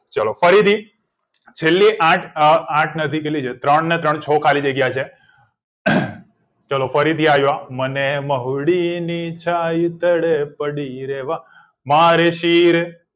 ચલો ફરી થી છેલ્લે આંઠ અ આંઠ ને ને છ કેટલી છે ત્રણ ને ત્રણ છ ખાલી જગ્યા છે ચલો ફરી થી આયુ આ મને મહુડી ની છાય તદ્પડી રે વા મારે શિર